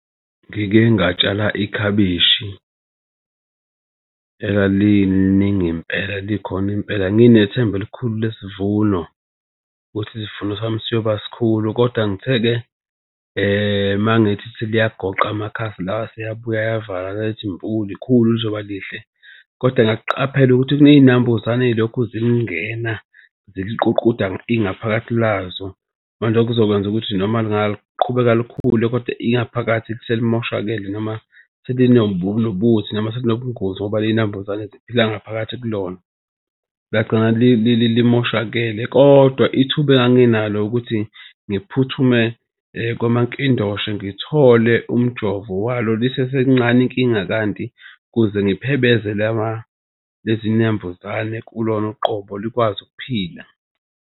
Ngike ngatshala ikhabishi elaliningi impela likhona impela. Nginethemba elikhulu lesivuno, ukuthi isivuno sami siyoba sikhulu, kodwa ngithe-ke mangithi seliyagoqa amakhasi la aseyabuya ayavala lithi mpu. Likhulu lizoba lihle, kodwa ngakuqaphela ukuthi kunezinambuzane eyilokhu zilingena ziliququda ingaphakathi lazo. Manje okuzokwenza ukuthi noma lingaqhubeka likhule, kodwa ingaphakathi selimoshakele noma nobuthi noma selinobungozi. Ngoba lezi nambuzane zila ngaphakathi kulona lingagcina limoshakele kodwa ithuba enganginalo ukuthi ngiphuthume kwamankindoshe ngithole umjovo walo lisesencane inkinga kanti ukuze ngiphebeze lezi nambuzane kulona uqobo likwazi ukuphila.